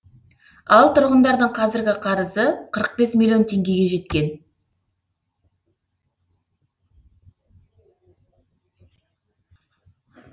ал тұрғындардың қазіргі қарызы қырық бес миллион теңгеге жеткен